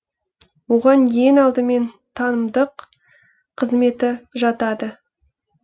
оған ең алдымен танымдық қызметі жатады